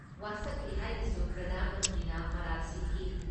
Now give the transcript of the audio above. ꯋꯥꯁꯛꯂꯤ ꯍꯥꯏꯅꯁꯨ ꯄ꯭ꯔꯙꯥꯟ ꯃꯟꯇ꯭ꯔꯤꯅ ꯃꯔꯥꯜ ꯁꯤꯈꯤ ꯫